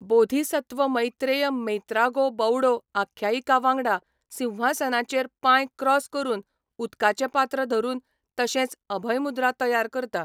बोधिसत्व मैत्रेय मेत्रागो बौडो आख्यायिकावांगडा, सिंहासनाचेर पांय क्रॉस करून, उदकाचें पात्र धरून, तशेंच अभयमुद्रा तयार करता.